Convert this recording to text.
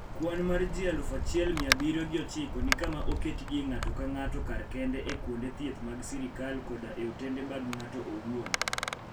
Kwan mar ji aluf achiel mia abiriyo gi ochiko ni kama oketgie ng'ato ka ng'ato kar kende e kuonde thieth mag sirkal koda e otende mag ng'ato owuon.